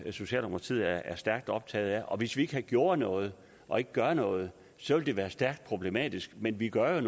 socialdemokratiet er stærkt optaget af og hvis ikke vi gjorde noget og ikke gør noget så vil det være stærkt problematisk men vi gør